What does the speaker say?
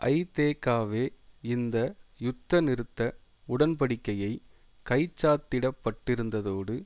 ஐதேகாவே இந்த யுத்த நிறுத்த உடன்படிக்கையை கைச்சாத்திடப்பட்டிருந்ததோடு